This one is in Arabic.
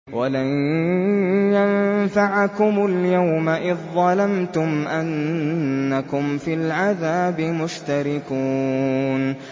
وَلَن يَنفَعَكُمُ الْيَوْمَ إِذ ظَّلَمْتُمْ أَنَّكُمْ فِي الْعَذَابِ مُشْتَرِكُونَ